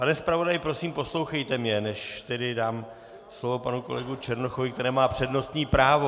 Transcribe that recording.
Pane zpravodaji, prosím, poslouchejte mě, než tedy dám slovo panu kolegovi Černochovi, který má přednostní právo.